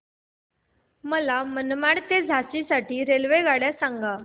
मला मनमाड ते झाशी साठी रेल्वेगाड्या सांगा